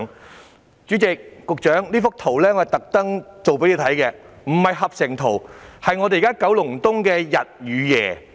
代理主席、局長，我特意製作這幅圖供局長看，這並非合成圖，是現時九龍東的日與夜。